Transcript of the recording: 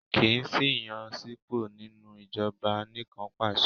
Kì í sí ìyànsípò nínú ìjọba anìkànpàṣẹ.